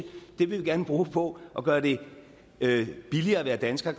det vil vi gerne bruge på at gøre det det billigere at være dansker